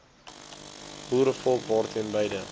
boerevolk daarteen beide